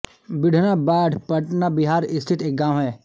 बीढना बाढ पटना बिहार स्थित एक गाँव है